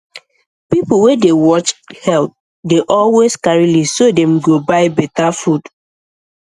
people wey dey watch health dey always carry list so dem go buy better food